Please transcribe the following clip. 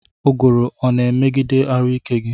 Ụguru ọna emegide arụ ike gi?